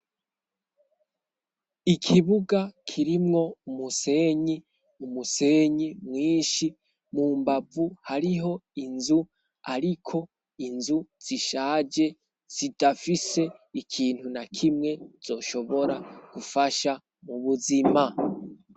Ikibuga kirimwo umusenyi, umusenyi mwinshi, mu mbavu hariho inzu ariko inzu zishaje zidafise ikintu na kimwe zoshobora gufasha mu buzima.